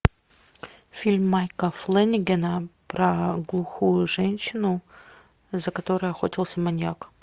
фильм майка флэнегана про глухую женщину за которой охотился маньяк